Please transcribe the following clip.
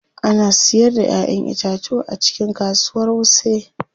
Ana siyar da Ƴaƴan itatuwa a cikin kasuwar wuse.